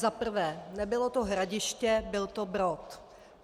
Za prvé, nebylo to Hradiště, byl to Brod.